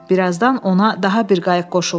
Bir azdan ona daha bir qayıq qoşuldu.